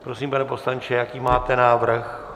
Prosím, pane poslanče, jaký máte návrh?